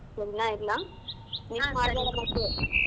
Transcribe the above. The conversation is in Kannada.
ಸರಿನಾ ಇಡ್ಲ miss ಮಾಡ್ಬೇಡ ಮತ್ತೆ.